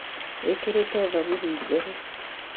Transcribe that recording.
Wĩkĩrĩte thogithi njerũ